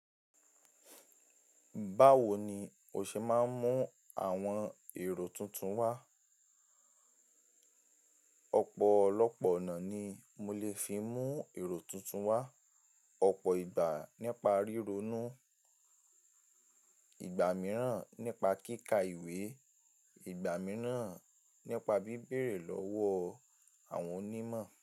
Báwo ni o ṣe máa ń mú àwọn èrò tuntun wá? Ọ̀pọ̀ ọ̀lọ́pọ̀ ọ̀nà ni mo lè fi mú èrò tuntun wá: ọ̀pọ̀ ìgbà nípa ríronú, ìgbà mìíràn nípa kíkà ìwé, ìgbà mìíràn nípa bíbèrè lọ́wọ́ àwọn onímọ̀.